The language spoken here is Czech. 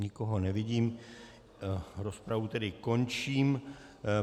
Nikoho nevidím, rozpravu tedy končím.